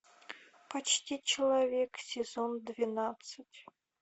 почти человек сезон двенадцать